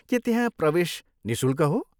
के त्यहाँ प्रवेश निःशुल्क हो?